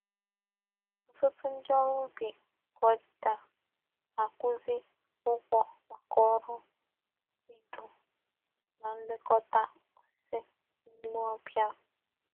Otutu ndi órú ubi ka o di taa na-akwuzi ugwo maka oru ido.na nlekota osisi n'ime obia.